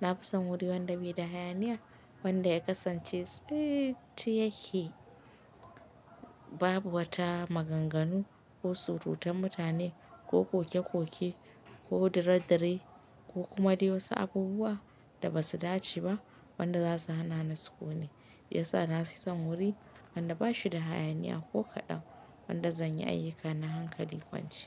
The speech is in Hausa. na fi son wuri wanda bai da hayaniya, wanda ya kasance tsiit yake, babu wata maganganu ko surutan mutane ko koke-koke ko dare-dare ko kuma dai wasu abubuwa da ba su dace ba wanda za su hana ni sukuni. Hiya sa na fi son wuri wanda ba shi da hayaniya ko kaɗan, wanda zan yi ayyukana hankali kwance.